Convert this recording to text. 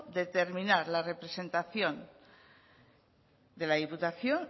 determinar la representación de la diputación